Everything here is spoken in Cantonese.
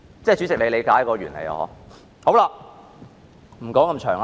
主席，你理解這原理嗎？